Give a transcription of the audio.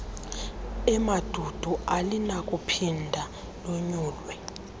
emandundu alinakuphinda lonyulwe